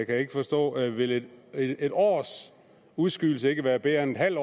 jeg ikke forstå vil vil en års udskydelse ikke være bedre end en halv